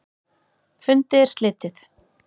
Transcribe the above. Fundi er slitið.